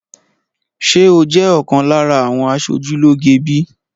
Ṣé o jẹ́ ọ̀kan lára àwọn aṣojú lóge bíi?